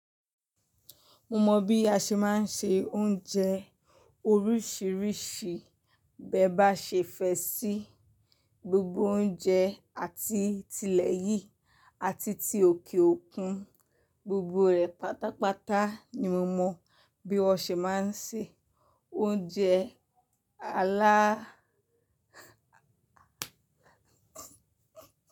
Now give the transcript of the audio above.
Mo mọ̀ bí a ṣe má ń sè oúnjẹ oríṣiríṣi. Bẹ́ bá ṣe fẹ́ ṣí gbogbo oúnjẹ àti tilẹ̀ yìí àti ti òkè òkun, gbogbo rẹ̀ pátápátá ni mo mọ bí wọ́n ṣe máa ń sè oúnjẹ alá.